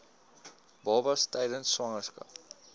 babas tydens swangerskap